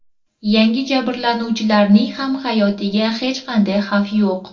Yangi jabrlanuvchilarning ham hayotiga hech qanday xavf yo‘q.